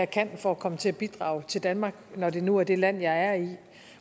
kan for at komme til at bidrage til danmark når det nu er det land man er i